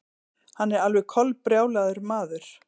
Hann er alveg kolbrjálaður maður.